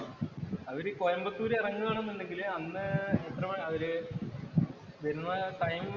അവര് കോയമ്പത്തൂര് ഇറങ്ങുകയാണെന്നുണ്ടെങ്കില് അന്ന് എത്രമണി അവര് വരുന്ന ടൈം